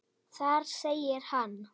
Þar segir hann